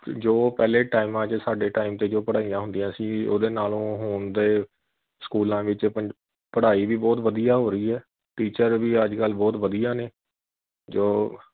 ਜੋ ਪਹਿਲੇ ਟਾਇਮਾਂ ਵਿਚ ਸਾਡੇ time ਤੇ ਜੋ ਪੜਾਈਆਂ ਹੁੰਦੀਆਂ ਸੀ ਉਹਦੇ ਨਾਲੋ ਹੁਣ ਦੇ ਸਕੂਲਾਂ ਵਿਚ ਪੜਾਈ ਵੀ ਬਹੁਤ ਵਧੀਆਂ ਹੋ ਰਹੀ ਐ teacher ਵੀ ਅੱਜਕਲ ਬਹੁਤ ਵਧੀਆ ਨੇ ਜੋ